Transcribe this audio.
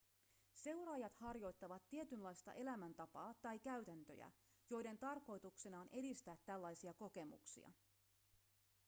seuraajat harjoittavat tietynlaista elämäntapaa tai käytäntöjä joiden tarkoituksena on edistää tällaisia kokemuksia